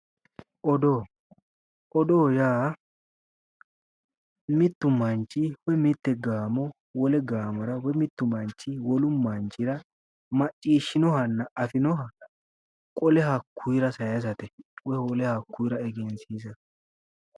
Odoo. Odoo yaa mittu manchi woyi mitte gaamo wole gaamora woyi mittu manchi wolu manchira macciishshinohanna afinoha qole hakkuyira sayisate. Woyi hakkuyira egensiisate.